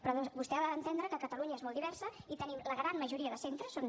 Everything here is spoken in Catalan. però vostè ha d’entendre que catalunya és molt diversa i tenim la gran majoria de centres són